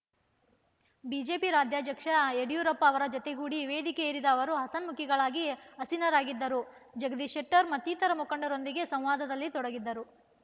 BJP ರಾಜ್ಯಾಧ್ಯಕ್ಷ ಯಡಿಯೂರಪ್ಪ ಅವರ ಜತೆಗೂಡಿ ವೇದಿಕೆ ಏರಿದ ಅವರು ಹಸನ್ಮುಖಿಗಳಾಗಿ ಆಸೀನರಾಗಿದ್ದರು ಜಗದೀಶ್ ಶೆಟ್ಟರ್ ಮತ್ತಿತರ ಮುಖಂಡರೊಂದಿಗೆ ಸಂವಾದದಲ್ಲಿ ತೊಡಗಿದ್ದರು